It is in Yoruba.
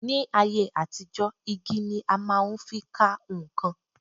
Ní ayé àtijọ́, igi ni a máa fi ń ka nǹkan